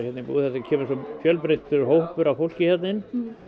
búðinni það kemur svo fjölbreyttur hópur af fólki hérna inn